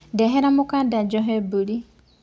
Ndehera mũkanda njohe mbũri.